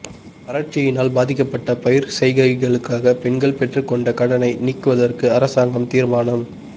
வறட்சியினால் பாதிக்கப்பட்ட பயிர்ச் செய்கைகளுக்காக பெண்கள் பெற்றுக் கொண்ட கடனை நீக்குவதற்கு அரசாங்கம் தீர்மானம்